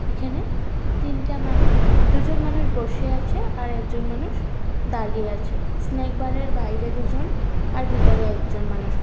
এখানে তিনটা মানুষদুজন মানুষ বসে আছে আর একজন মানুষ দাঁড়িয়ে আছেস্ন্যাক বার এর বাইরে দুজন আর ভিতরে একজন মানুষ আ--